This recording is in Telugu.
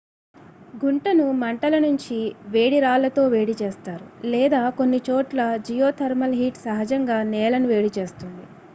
గుంటను మంటల నుంచి వేడి రాళ్ళతో వేడి చేస్తారు లేదా కొన్ని చోట్ల జియోథర్మల్ హీట్ సహజంగా నేలను వేడి చేస్తుంది